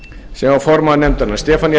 sem var formaður nefndarinnar stefanía